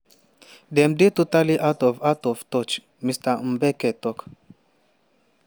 dem dey totally out of out of touch" mr mbeki tok.